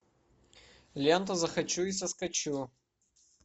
лента захочу и соскочу